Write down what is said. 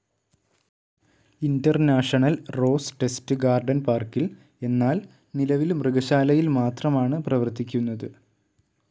International rose test garden പാർക്കിൽ, എന്നാൽ നിലവിൽ മൃഗശാലയിൽ മാത്രമാണ് പ്രവർത്തിക്കുന്നത്.